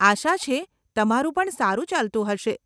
આશા છે, તમારું પણ સારું ચાલતું હશે.